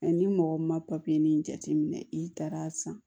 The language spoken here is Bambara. ni mɔgɔ ma nin jateminɛ i taara san